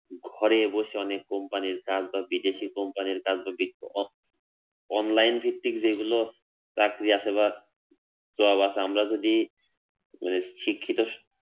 ঘরে বসে অনেক কোম্পানি র কাজ বা বিদেশী কোম্পানি র কাজ যদি online ভিত্তিক যেইগুলো চাকরি আছে বা job আছে আমরা যদি মানে শিক্ষিত